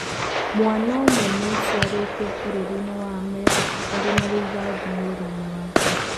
Mwana ũmwe nĩ aciarĩitwo Bũrũri wa Amerika arĩ na rithathi mwĩrĩ-inĩ wake.